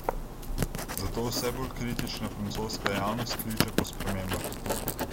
Zato vse bolj kritična francoska javnost kliče po spremembah.